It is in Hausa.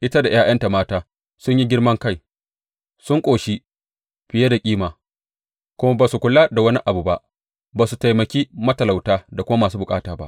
Ita da ’ya’yanta mata sun yi girman kai, sun ƙoshi fiye da kima kuma ba su kula da wani abu ba; ba su taimaki matalauta da kuma masu bukata ba.